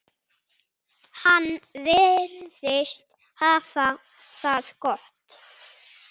Hann virðist hafa það gott.